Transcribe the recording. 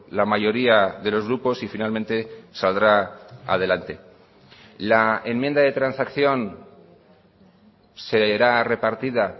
la mayoría de los grupos y finalmente saldrá adelante la enmienda de transacción será repartida